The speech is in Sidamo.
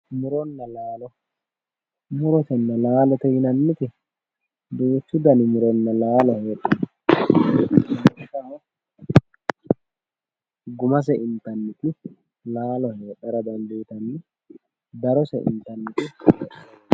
Muronna laalo murotenna laalote yinanniti duuchu dani muronna laalo heedhanno lawishshaho gumase intanniti laalo heedhara dandiitanno darose intanniti muro heedhara dandiitanno